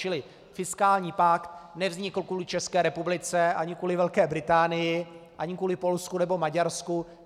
Čili fiskální pakt nevznikl kvůli České republice ani kvůli Velké Británii ani kvůli Polsku nebo Maďarsku.